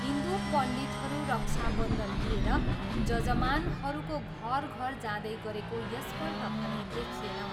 हिन्दु पण्डितहरू रक्षा बन्धन लिएर जजमानहरूको घर घर जाँदै गरेको यसपल्ट भने देखिएन।